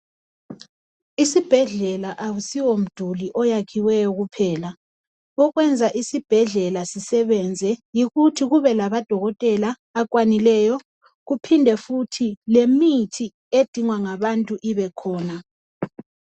Isibhedlela akusiwo mduli oyakhiweyo kuphela okwenza isibhedlala sisebenze yikuthi kube lamadokotela akwanileyo kuphinde futhi imithi edingwa ngabantu ibekhona.